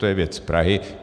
To je věc Prahy.